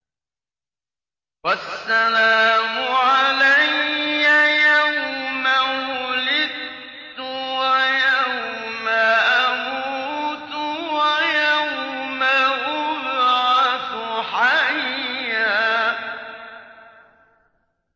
وَالسَّلَامُ عَلَيَّ يَوْمَ وُلِدتُّ وَيَوْمَ أَمُوتُ وَيَوْمَ أُبْعَثُ حَيًّا